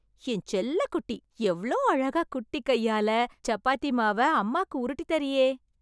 என் செல்லக்குட்டி... எவ்ளோ அழகா, குட்டி கையால, சப்பாத்தி மாவை அம்மாக்கு உருட்டி தர்றீயே...